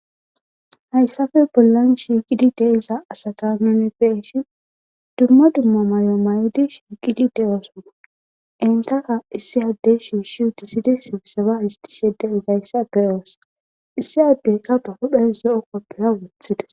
Hayissappe bollann shiqidi de'iza asata nuni be'ishshinn dumma dumma mayo mayiddi shiqqiddi de'ossona .entta issi adeyi shishshi uttissidi sibisebba hisitishshe de'izayisati be'oss.issi adeyi baa huphphenn zo'o kopiya woththides.